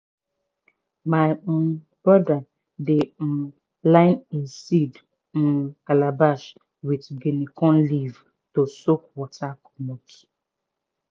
my um brother dey um line e seed um calabash with guinea corn leaf to soak water commot.